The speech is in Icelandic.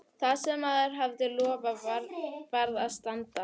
Það sem maður hafði lofað varð að standa.